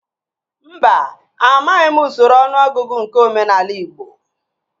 Mba, amaghị m usoro ọnụọgụgụ nke omenaala igbo